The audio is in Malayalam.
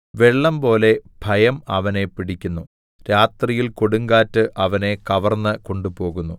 വെള്ളംപോലെ ഭയം അവനെ പിടിക്കുന്നു രാത്രിയിൽ കൊടുങ്കാറ്റ് അവനെ കവർന്ന് കൊണ്ടുപോകുന്നു